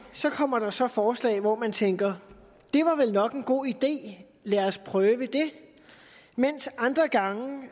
kommer der så et forslag hvor man tænker det var vel nok en god idé lad os prøve det men andre gange vil